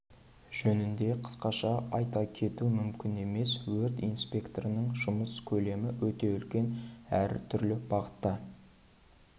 жөнінде қысқаша айта кету мүмкін емес өрт инспекторының жұмыс көлемі өте үлкен әр түрлі бағытта